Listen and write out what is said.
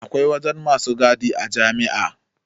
Akwai wajen masu gadia jami'a